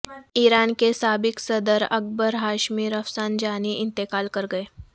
ایران کے سابق صدر اکبر ہاشمی رفسنجانی انتقال کرگئے